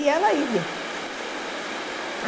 E ela idem.